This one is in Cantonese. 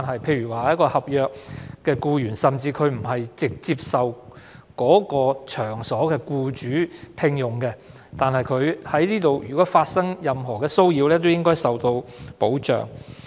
例如，一名合約僱員不是直接受某場所的僱主聘用，但如果該名僱員在該場所內受到任何騷擾，亦應該受到保障。